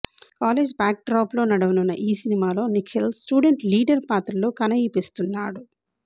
college బ్యాక్డ్రాప్లో నడవనున్న ఈసినిమాలో నిఖిల్ స్టూడెంట్ లీడర్ పాత్రలో కనఇపస్తున్నాడు